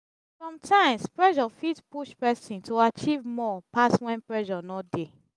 sometimes pressure fit push person to achive more pass when pressure no dey